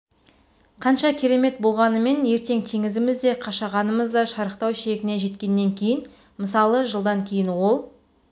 қанша керемет болғанымен ертең теңізіміз де қашағанымыз да шарықтау шегіне жеткеннен кейін мысалы жылдан кейін ол